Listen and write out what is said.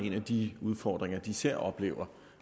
en af de udfordringer de især oplever